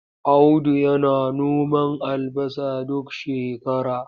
Audu yana noman albasa duk shakara.